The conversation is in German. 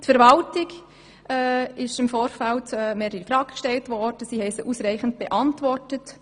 Die Verwaltung hat unsere Fragen ausreichend beantwortet.